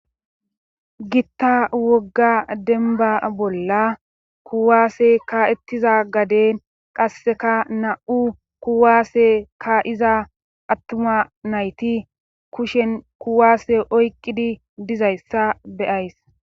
Gitta wogga denba bolla kuwaase ka7ettiza gaden qasseka na7u kuwaase ka7iza attuma nayti kushen kuwaase oyqqidi dizayssa be7ays.